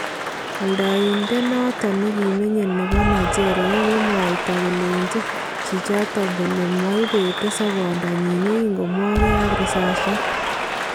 Aldayindet noton nekimenyee nebo Nigeria kokikimwayta koleenchin chichoton kole maibetee soboondoo yekimwogee ak risasyat